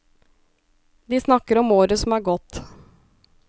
De snakker om året som er gått.